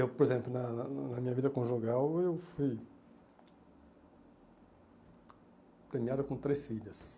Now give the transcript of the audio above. Eu, por exemplo, na na na minha vida conjugal, eu fui premiado com três filhas.